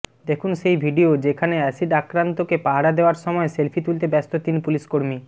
দেখুন সেই ভিডিও যেখানে অ্যাসিড আক্রান্তকে পাহারা দেওয়ার সময় সেলফি তুলতে ব্যস্ত তিন পুলিশকর্মী